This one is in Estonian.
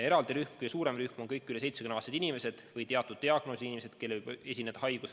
Eraldi suur rühm on kõik üle 70-aastased inimesed ja teatud diagnoosiga inimesed, kellel haigus kulgeks väga raskelt.